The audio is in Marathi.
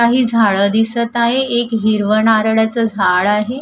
काही झाडं दिसत आहे एक हिरवं नारळाचं झाड आहे.